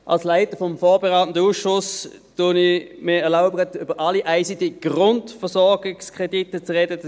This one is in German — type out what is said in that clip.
Als Leiter des vorberatenden Ausschusses erlaube ich mir, über alle ICT-Grundversorgungskredite zu sprechen.